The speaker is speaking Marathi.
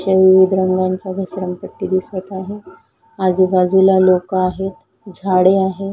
विविध रंगांच्या घसरण पट्टी दिसत आहे आजूबाजूला लोक आहेत झाडे आहे.